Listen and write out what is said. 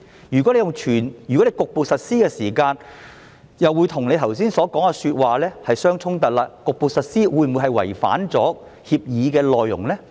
如果是局部實施時，這樣又會與局長剛才說的話相衝突，那麼局部實施會否違反協議的內容呢？